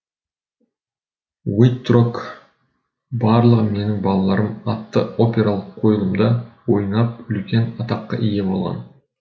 уиттрок барлығы менің балаларым атты опералық қойлымда ойнап үлкен атаққа ие болған